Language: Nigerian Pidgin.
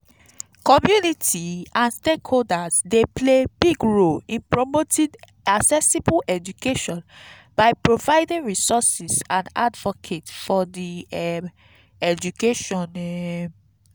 community and stakeholders dey play big role in promoting accessible education by providing resources and advocate for di um education. um